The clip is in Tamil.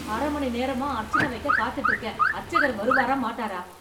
அர மணி நேரமா அர்ச்சன வைக்கக் காத்துட்டு இருக்கேன். அர்ச்சகர் வருவாரா மாட்டாரா?